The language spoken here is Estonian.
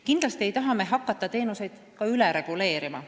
Kindlasti ei taha me hakata teenuseid üle reguleerima.